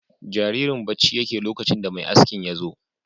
Jaririn bacci yake lokacin da mai askin yazo